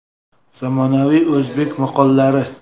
Zamonaviy o‘zbek maqollari.